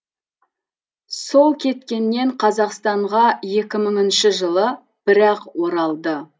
сол кеткеннен қазақстанға екі мыңыншы жылы бір ақ оралды